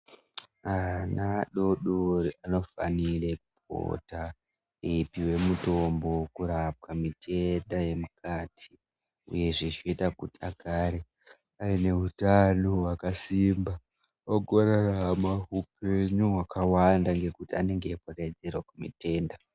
Ana adodori anofanire kupota eipiwa mitombo kurapwa mitenda yemukati uyezve zvinoite kuti agare ane utano hwakasimba ogorarama upenyu hwakawanda ngekuti anenge adzivirira zvitenda.